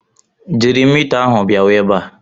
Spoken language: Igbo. Jiri mita ahụ bịawa ebe a!